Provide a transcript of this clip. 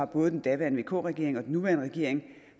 både den daværende vk regering og den nuværende regering